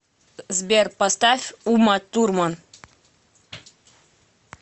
сбер поставь уматурман